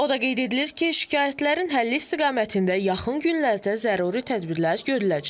O da qeyd edilir ki, şikayətlərin həlli istiqamətində yaxın günlərdə zəruri tədbirlər görüləcək.